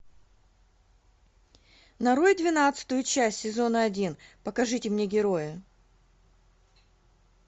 нарой двенадцатую часть сезона один покажите мне героя